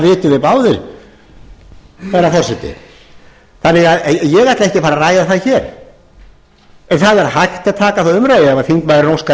vitum við báðir herra forseti ég ætla ekki að fara að ræða það hér en það er hægt að taka þá umræðu ef þingmaðurinn óskar